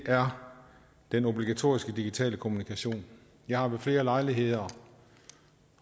er den obligatoriske digitale kommunikation jeg har ved flere lejligheder